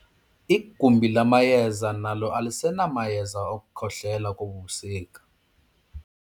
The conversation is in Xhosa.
Igumbi lamayeza nalo alisenamayeza okukhohlela kobu busika.